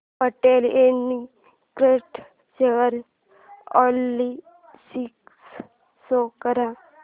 Patel integrate share analysis show कर